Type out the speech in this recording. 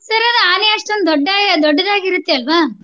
Sir ಅದು ಆನೆ ಅಷ್ಟೊಂದ್ ದೊಡ್ಡ~ ದೊಡ್ಡದಾಗಿರುತ್ತೆ ಅಲ್ವಾ.